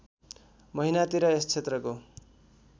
महिनातिर यस क्षेत्रको